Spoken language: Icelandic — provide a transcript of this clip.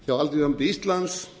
hjá alþýðusambandi íslands